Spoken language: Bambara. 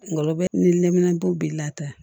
Ngɔlɔbɛ ni nɛminanpo b'i la